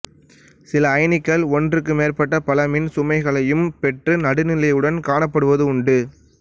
சில அயனிகள் ஒன்றுக்கு மேற்பட்ட பல மின்சுமைகளையும் பெற்று நடுநிலையுடன் காணப்படுவதும் உண்டு